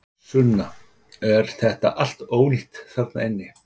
Sunna: Er þetta allt ónýtt þarna inni?